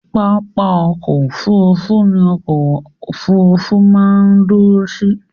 Pápá ọkọ̀ Òfurufú nìkan ni ọkọ òfurufú máa ń dúró sí.